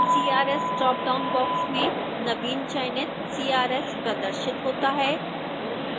crs dropdown box में नवीन चयनित crs प्रदर्शित होता है